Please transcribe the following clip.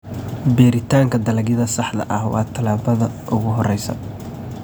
Beeritaanka dalagyada saxda ah waa tallaabada ugu horreysa.